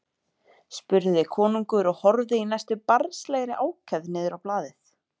spurði konungur og horfði í næstum barnslegri ákefð niður á blaðið.